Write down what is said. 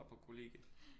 Bor på kollegie